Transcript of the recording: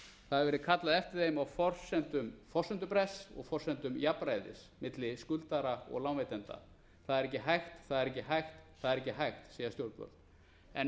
það hefur verið kallað eftir þeim á forsendum forsendubrests og forsendum jafnræðis milli skuldara og lánveitenda það er ekki hægt það er ekki hægt það er ekki hægt segja stjórnvöld en